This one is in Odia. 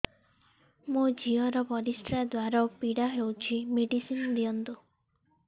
ମୋ ଝିଅ ର ପରିସ୍ରା ଦ୍ଵାର ପୀଡା ହଉଚି ମେଡିସିନ ଦିଅନ୍ତୁ